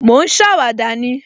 Mo ń ṣàwàdà ni